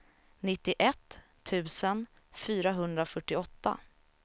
nittioett tusen fyrahundrafyrtioåtta